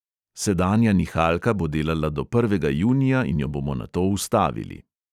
Sedanja nihalka bo delala do prvega junija in jo bomo nato ustavili.